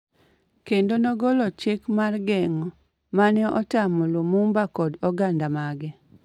kendo nogolo chik mar geng'o, mane otamo Lumumba kod oganda mage,